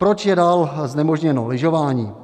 Proč je dál znemožněno lyžování?